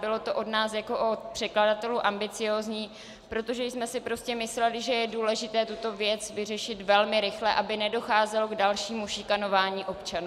Bylo to od nás jako od předkladatelů ambiciózní, protože jsme si prostě mysleli, že je důležité tuto věc vyřešit velmi rychle, aby nedocházelo k dalšímu šikanování občanů.